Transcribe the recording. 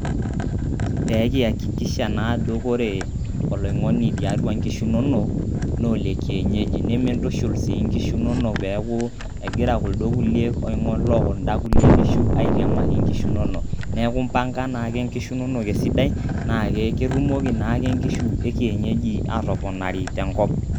Peekiyakikisha naa ajo kore oloing'oni tiatua nkishu inonok naa olekienyeji, nimintushul sii nkishu inonok peeku egira kuldo kulie oing'ok lookunda kulie kishu aitiamaki nkishu inonok. Neeku impanga naake nkishu inonok esidai, naa ketumoki naake nkishu e kienyeji aatoponari tenkop.